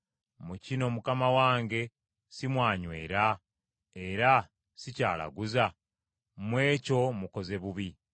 Mu kino mukama wange si mwanywera, era si kyalaguza? Mu ekyo mukoze bubi.’ ”